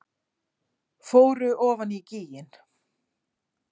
Fóru ofan í gíginn